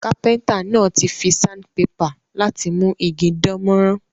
Kápẹ́ńtà náà ti fi sandpaper láti mú igi dánmórán